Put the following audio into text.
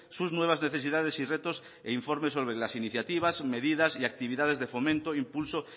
sus nuevas necesidades y retos e informe sobre las iniciativas medidas y actividades de fomento impulso